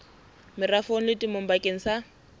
merafong le temong bakeng sa